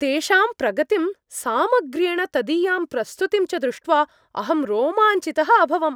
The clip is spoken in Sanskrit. तेषां प्रगतिं, सामग्र्येण तदीयां प्रस्तुतिं च दृष्ट्वा अहं रोमाञ्चितः अभवम्।